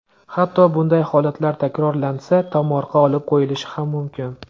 Hatto bunday holatlar takrorlansa, tomorqa olib qo‘yilishi ham mumkin.